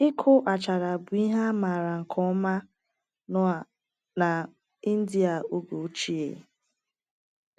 Ịkụ Achara bụ ihe a maara nke ọma na na India oge ochie.